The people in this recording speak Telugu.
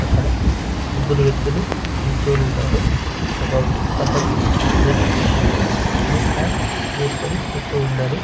అక్కడ ముగ్గురు వ్యక్తులు నిల్చుని ఉన్నారు ఒకతను red T shirt blue pant వేసుకుని చూస్తూ ఉన్నాడు.